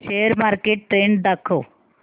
share market trend दाखव